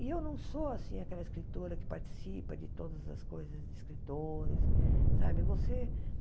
E eu não sou assim aquela escritora que participa de todas as coisas de escritores. Sabe você